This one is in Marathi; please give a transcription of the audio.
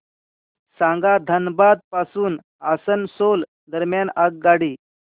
सांगा धनबाद पासून आसनसोल दरम्यान आगगाडी